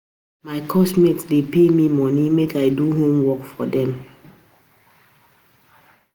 My course mates dey pay me money make I do homework for dem